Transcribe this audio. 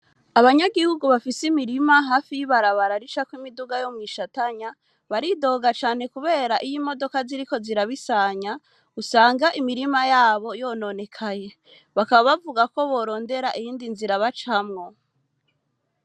Abanyagihugu, bafise imirima, hafi y’ibarabara, ricako imiduga, yo mw’i Shatanya, baridoga cane, kubera, iyo imodoka, ziriko zirabisanya, usanga imirima yabo, yononekaye; bakaba bavuga ko, borondera iyindi nzira, bacamwo.